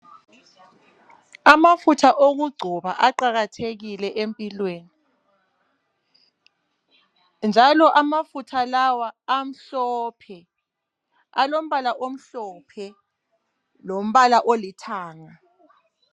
Amafutha okuggcoba aqakathekile empilweni. Njalo amafutha la amhlophe alombala omhlophe lombala olithanga.